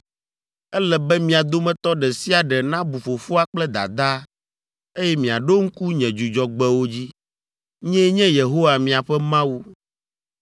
“ ‘Ele be mia dometɔ ɖe sia ɖe nabu fofoa kple dadaa, eye miaɖo ŋku nye Dzudzɔgbewo dzi. Nyee nye Yehowa miaƒe Mawu.